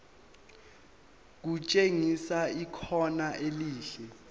kutshengisa ikhono elihle